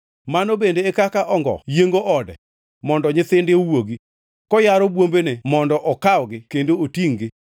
mano bende e kaka ongo yiengo ode mondo nyithinde owuogi, koyaro bwombene mondo okawgi kendo otingʼ-gi.